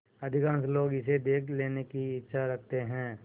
अधिकांश लोग इसे देख लेने की इच्छा रखते हैं